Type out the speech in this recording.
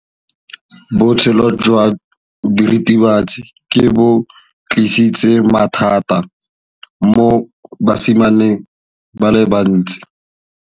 Botshelo jwa diritibatsi ke bo tlisitse mathata mo basimaneng ba bantsi.